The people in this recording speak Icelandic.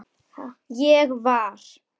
Ég var.